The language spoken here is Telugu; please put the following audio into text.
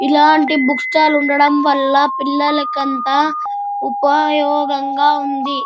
ఇలాంటి బుక్ స్టాల్ ఉండడం వాళ్ళ పిల్లలకు ఉపయోగం ఉంది.